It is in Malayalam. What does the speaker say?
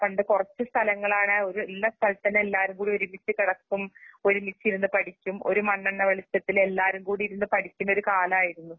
പണ്ട് കുറച്ച്സ്ഥലങ്ങളാണ് ഒരു ഇന്നസ്ഥലത്തിനെല്ലാരുംകൂടിയൊരുമിച്ച്കിടക്കും, ഒരുമിച്ചിരുന്ന്പഠിക്കും ഒരുമണ്ണെണ്ണവെളിച്ചത്തിലെല്ലാരുംകൂടിയിരുന്ന്പഠിക്കുന്നകാലായിരുന്നു.